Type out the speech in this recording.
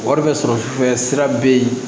Wari bɛ sɔrɔ sira bɛ yen